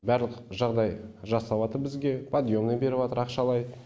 барлық жағдай жасап жатыр бізге подъемный беріп жатыр ақшалай